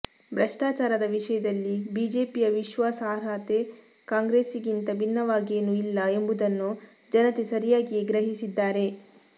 ಭ್ರಷ್ಟಾಚಾರದ ವಿಷಯದಲ್ಲಿ ಬಿಜೆಪಿಯ ವಿಶ್ವಾಸಾರ್ಹತೆ ಕಾಂಗ್ರೆಸಿಗಿಂತ ಭಿನ್ನವಾಗೇನೂ ಇಲ್ಲ ಎಂಬುದನ್ನು ಜನತೆ ಸರಿಯಾಗಿಯೇ ಗ್ರಹಿಸಿದ್ದಾರೆ